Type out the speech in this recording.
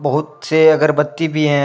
बहुत से अगरबत्ती भी हैं।